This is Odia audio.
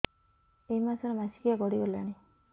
ଏଇ ମାସ ର ମାସିକିଆ ଗଡି ଗଲାଣି